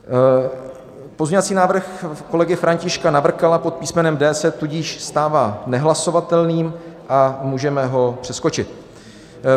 Pozměňovací návrh kolegy Františka Navrkala pod písmenem D se tudíž stává nehlasovatelným a můžeme ho přeskočit.